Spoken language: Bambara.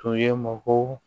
Tun ye mɔgɔw